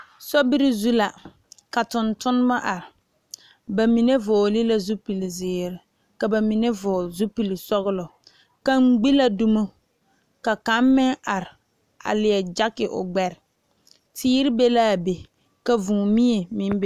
Sobiiri zu la ka tontuma are bamine vɔgle la zupele ziiri ka bamine vɔgle zupele sɔglɔ kaŋa gbe la domo ka kaŋ meŋ are leɛ gyekyi o gbɛre teere meŋ be la be ka vūū mie meŋ bebe.